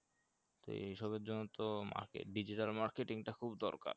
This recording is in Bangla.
এ এই সবের জন্য তো market digital marketing টা খুব দরকার